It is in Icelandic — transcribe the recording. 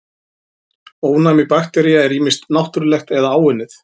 Ónæmi baktería er ýmist náttúrlegt eða áunnið.